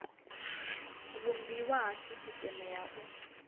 vhumbiwa ha sisiteme ya u